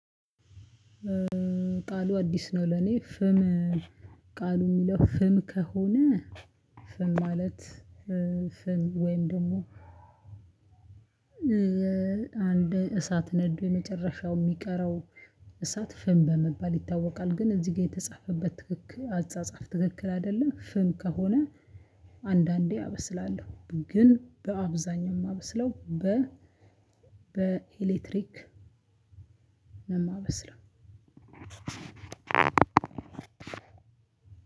ቃሉ አዲስ ነው ለኔ ፍም። ቃሉ የሚለው ፍም ከሆነ ፍም ማለት። ፍም ወይም ደግሞ። አንድ እሳት ነዶ የመጨረሻው የሚቀረው እሳት ፍም በመባል ይታወቃል። ግን እዚህ ጋር የተጻፈበት ትክክል አጻጻፍ ትክክል አይደለ ፍም ከሆነ። አንዳንዴ አበስላለሁ ግን በአብዛኛው የማበስለው በ በኤሌክትሪክ ነው ማበስለው።